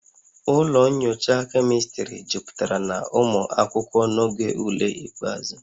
Ụlọ nyocha chemistry jupụtara na ụmụ akwụkwọ n'oge ule ikpeazụ